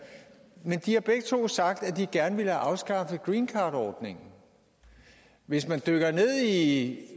og de har begge to sagt at de gerne vil have afskaffet greencardordningen hvis man dykker ned i